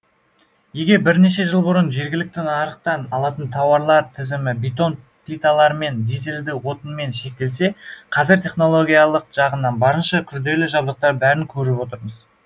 егер бірнеше жыл бұрын жергілікті нарықтан алатын тауарлар тізімі бетон плиталармен дизельді отынмен шектелсе қазір технологиялық жағынан барынша күрделі жабдықтар барын көріп отырмыз